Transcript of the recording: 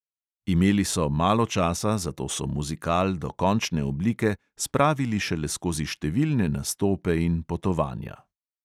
Imeli so malo časa, zato so muzikal do končne oblike spravili šele skozi številne nastope in potovanja.